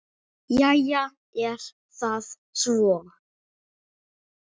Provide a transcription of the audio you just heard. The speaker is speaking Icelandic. Jæja er það svo.